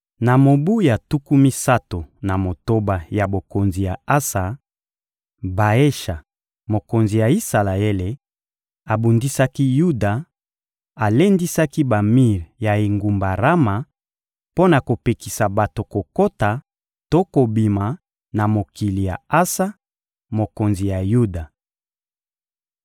Na mobu ya tuku misato na motoba ya bokonzi ya Asa, Baesha, mokonzi ya Isalaele, abundisaki Yuda; alendisaki bamir ya engumba Rama mpo na kopekisa bato kokota to kobima na mokili ya Asa, mokonzi ya Yuda.